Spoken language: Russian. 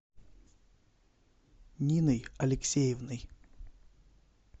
ниной алексеевной